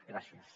gràcies